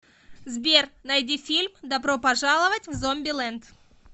сбер найди фильм добро пожаловать в зомби лэнд